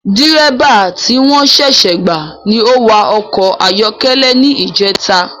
Dírẹ́bà ti wọ́n ṣẹṣẹ gbà ni o wa ọkọ̀ ayọ́kẹ́lẹ́ ni ijeta